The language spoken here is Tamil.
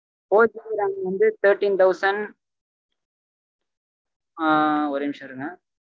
fourGBRAM வந்து thirteen thousand ஆஹ் ஒரே நிமிஷம் இருங்க